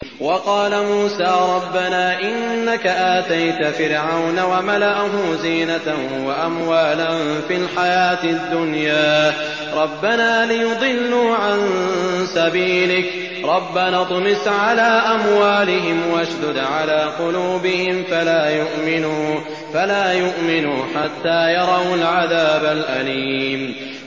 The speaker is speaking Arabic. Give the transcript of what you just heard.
وَقَالَ مُوسَىٰ رَبَّنَا إِنَّكَ آتَيْتَ فِرْعَوْنَ وَمَلَأَهُ زِينَةً وَأَمْوَالًا فِي الْحَيَاةِ الدُّنْيَا رَبَّنَا لِيُضِلُّوا عَن سَبِيلِكَ ۖ رَبَّنَا اطْمِسْ عَلَىٰ أَمْوَالِهِمْ وَاشْدُدْ عَلَىٰ قُلُوبِهِمْ فَلَا يُؤْمِنُوا حَتَّىٰ يَرَوُا الْعَذَابَ الْأَلِيمَ